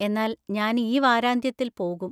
എന്നാൽ ഞാൻ ഈ വാരാന്ത്യത്തിൽ പോകും.